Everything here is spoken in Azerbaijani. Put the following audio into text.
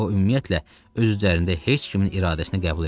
O ümumiyyətlə öz üzərində heç kimin iradəsinə qəbul eləmirdi.